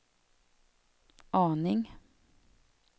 aning